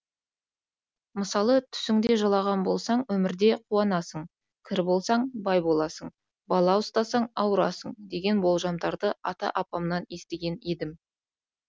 мысалы түсіңде жылаған болсаң өмірде қуанасың кір болсаң бай боласың бала ұстасаң ауырасың деген болжамдарды ата апамнан естіген едім